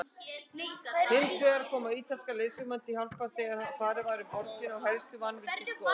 Hinsvegar komu ítalskir leiðsögumenn til hjálpar þegar farið var um borgina og helstu mannvirki skoðuð.